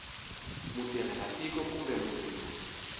mutirhela tiko kumbe munhu loyi